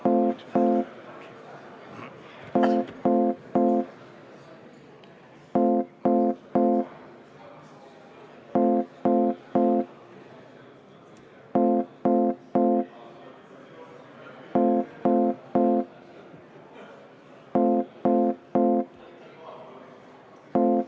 Hääletustulemused Tagasi lükkamise poolt hääletas 46 Riigikogu liiget, vastu 42.